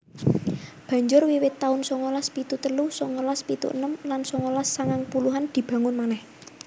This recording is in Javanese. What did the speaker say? Banjur wiwit taun songolas pitu telu songolas pitu enem lan songolas sangang puluhan dibangun manèh